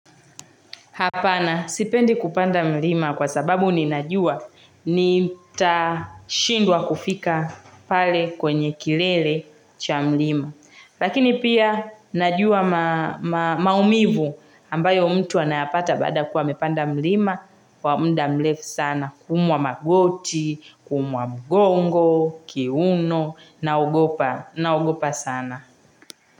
Hapana sipendi kupanda mlima kwa sababu ni najua ni tashindwa kufika pale kwenye kilele cha mlima. Lakini pia najua maumivu ambayo mtu anayapata baada kuwa mepanda mlima kwa mda mlefu sana kumwa magoti, kumwa mgongo, kiuno na ugopa sana.